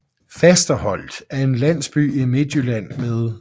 Fasterholt er en landsby i Midtjylland med